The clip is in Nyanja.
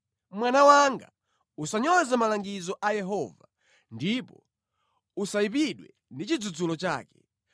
Mwana wanga usanyoze malangizo a Yehova, ndipo usayipidwe ndi chidzudzulo chake.